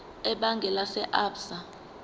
ebhange lase absa